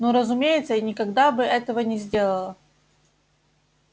ну разумеется я никогда бы этого не сделала